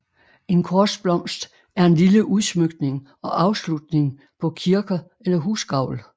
En korsblomst er en lille udsmykning og afslutning på kirker eller husgavl